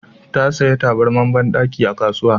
Ta saya tabarmar banɗaki a kasuwa